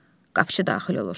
Qapıçı daxil olur.